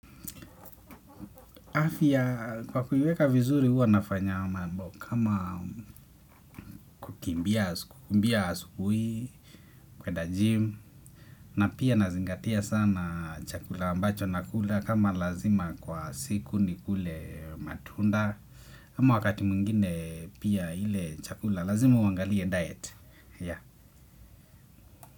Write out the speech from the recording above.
Afya kwa kuiweka vizuri huwa nafanya mambo kama kukimbia asubuhi kwenda gym na pia nazingatia sana chakula ambacho nakula kama lazima kwa siku nikule matunda ama wakati mwingine pia ile chakula lazima uangalie diet. Yeah.